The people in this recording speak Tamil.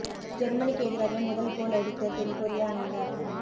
ஜெர்மனிக்கு எதிராக முதல் கோல் அடித்த தென் கொரிய அணியினர்